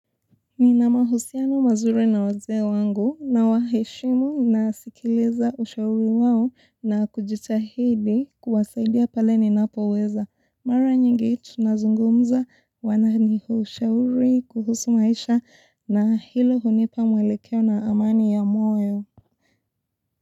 Nina mahusiano mazuri na wazee wangu nawaheshimu nasikiliza ushauri wao na kujitahidi kuwasaidia pale ninapoweza. Mara nyingi tunazungumza wananipa ushauri kuhusu maisha na hilo hunipa mwelekeo na amani ya moyo.